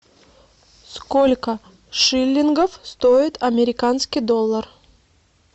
сколько шиллингов стоит американский доллар